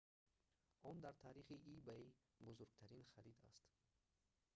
он дар таърихи ebay бузургтарин харид аст